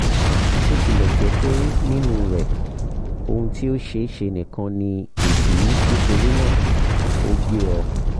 bó tilẹ̀ jẹ́ pé nínú rẹ̀ ohun tí ó ṣeéṣe nìkan ni ìdí nítorí náà ó gé ọ